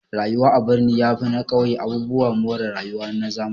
Rayuwa a birni yafi na ƙauye abubuwan more rayuwa na zamani